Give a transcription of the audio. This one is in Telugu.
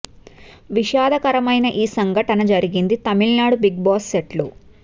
విషాదకరమైన ఈ సంఘటన జరిగింది తమిళ బిగ్ బాస్ సెట్ లో